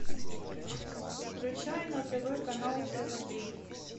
включай на тв канал тв три